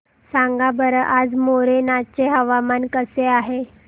सांगा बरं आज मोरेना चे हवामान कसे आहे